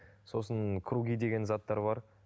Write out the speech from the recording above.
сосын круги деген заттар бар